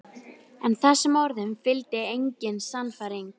Frúin Bera búin að fá Næpuna undan Menningarsjóði.